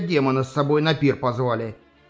демона с собой на пир позвали